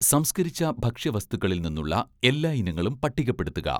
"സംസ്കരിച്ച ഭക്ഷ്യവസ്തുക്കളിൽ നിന്നുള്ള എല്ലാ ഇനങ്ങളും പട്ടികപ്പെടുത്തുക "